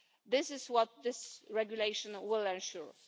This is what this regulation will ensure.